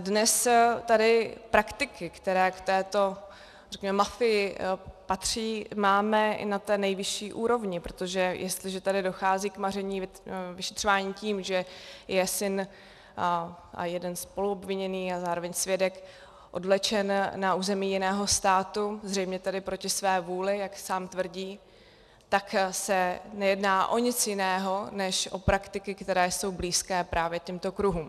A dnes tady praktiky, které k této, řekněme, mafii patří, máme i na té nejvyšší úrovni, protože jestliže tady dochází k maření vyšetřování tím, že je syn a jeden spoluobviněný a zároveň svědek odvlečen na území jiného státu, zřejmě tedy proti své vůli, jak sám tvrdí, tak se nejedná o nic jiného než o praktiky, které jsou blízké právě těmto kruhům.